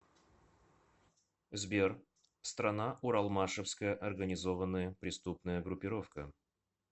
сбер страна уралмашевская организованная преступная группировка